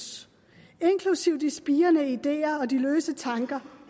inklusive de spirende ideer og de løse tanker